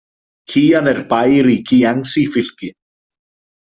Kían er bær i Kíangsí- fylki.